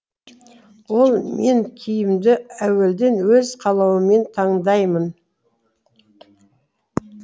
ол мен киімді әуелден өз қалауыммен таңдаймын